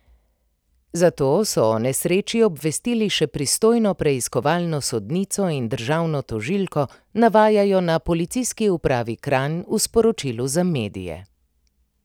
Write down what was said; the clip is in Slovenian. Zato so o nesreči obvestili še pristojno preiskovalno sodnico in državno tožilko, navajajo na Policijski upravi Kranj v sporočilu za medije.